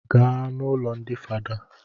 Gaa n'ụlọ ndi fada